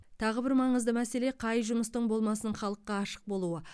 тағы бір маңызды мәселе қай жұмыстың болмасын халыққа ашық болуы